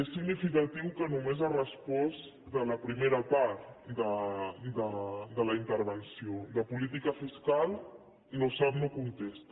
és significatiu que només hagi respost a la primera part de la intervenció de política fiscal no sap no contesta